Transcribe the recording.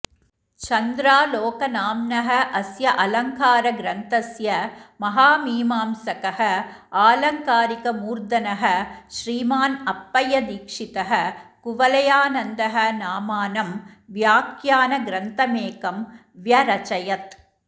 चन्द्रालोकनाम्नः अस्य अलङ्कारग्रन्थस्य महामीमांसकः आलङ्कारिकमूर्धनः श्रीमान् अप्पय्यदीक्षितः कुवलयानन्दः नामानं व्याख्यानग्रन्थमेकम् व्यरचयत्